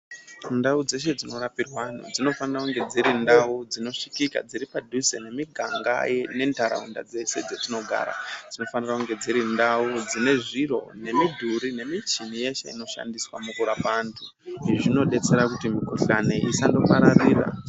Ndau dzeshe dzinorapirwa antu, dzinofanira kunge dziri ndau dzinosvikika. Dziri padhuze nemiganga nentaraunda dzese dzetinogara. Dzinofanira kunge dziri ndau dzine zviro, nemidhuri nemichini yeshe inoshandiswa mukurapa antu. Izvi zvinobetsera kuti mikuhlani isandopararira.